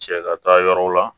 Cɛ ka taa yɔrɔ la